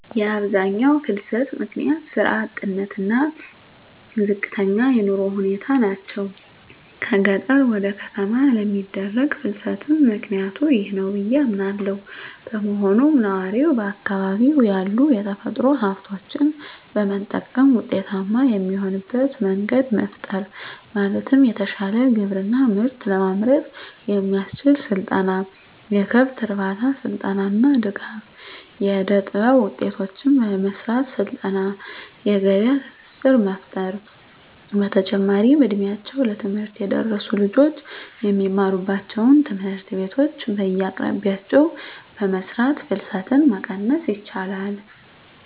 የአብዛኛው ፍልሰት ምክንያት ስራ አጥነት እና ዝቅተኛ የኑሮ ሁኔታ ናቸው። ከገጠር ወደ ከተማ ለሚደረግ ፍልስትም ምክኒያቱ ይህ ነው ብዬ አምናለው። በመሆኑም ነዋሪው በአካባቢው ያሉ የተፈጥሮ ሀብቶችን በመጠቀም ውጤታማ የሚሆንበት መንገድ መፍጠር ማለትም የተሻለ ግብርና ምርት ለማምረት የሚያስችል ስልጠና፣ የከብት እርባታ ስልጠና እና ድጋፍ. ፣ የእደጥበብ ውጤቶችን ለመሰራት ስልጠና የገበያ ትስስር መፍጠር። በተጨማሪም እ ድሜያቸው ለትምህርት የደረሱ ልጆች የሚማሩባቸውን ትምህርት ቤቶች በየአቅራቢያቸው በመስራት ፍልሰትን መቀነስ ይቻላል።